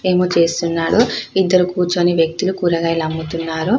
ఏమో చేస్తున్నాడు ఇద్దరు కూర్చొని వ్యక్తులు కూరగాయలు అమ్ముతున్నారు .